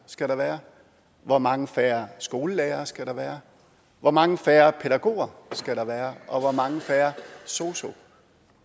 skal der være hvor mange færre skolelærere skal der være hvor mange færre pædagoger skal der være hvor mange færre sosu